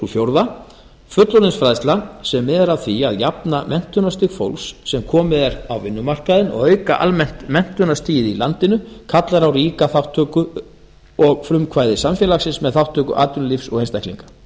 fjórða fullorðinsfræðsla sem miðar að því að jafna menntunarstig fólks sem komið er á vinnumarkaðinn og auka almennt menntunarstigið í landinu kallar á ríka þátttöku og frumkvæði samfélagsins með þátttöku atvinnulífs og einstaklinga